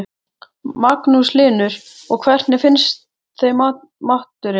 Magnús Hlynur: Og hvernig finnst þeim maturinn?